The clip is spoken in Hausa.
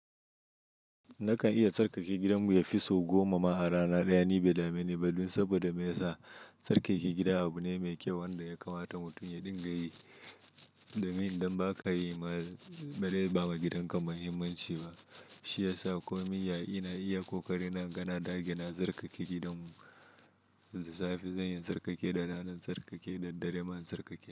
Nakan iya tsarkake gidanmu ya fi sau goma ma a rana ɗaya, ni bai da mene ba, don saboda me yasa, tsarkake gida abu ne mai kyau, wanda ya kamata mutum ya dinga yi. Domin idan ba ka yi ma, ba rai ba ma gidan kan ma himmanci ba. Shi ya sa ko min yaya ina iya ko kare na, in ga na dage na tsarkake gidanmu. Safi zan yi tsarkake da ranar tsarkake da dare man tsarkake.